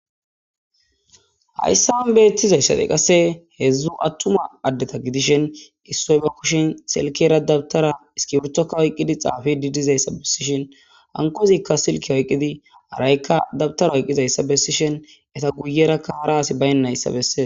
Hayssan beettizayssadey qasse heedzdzu attuma addeta gidishen issoy ba kushin selkera dabtara iskiwurtokka oyqqidi xaafi di dizayssa bessishin hankozikka silke oyqqidi araykka dabtara oyqizayssa bessishen eta guyerakka hara asi baynnayssa bessee.